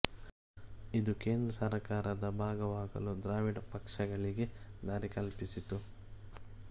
ಇದು ಕೇಂದ್ರ ಸರ್ಕಾರದ ಭಾಗವಾಗಲು ದ್ರಾವಿಡ ಪಕ್ಷಗಳಿಗೆ ದಾರಿ ಕಲ್ಪಿಸಿತು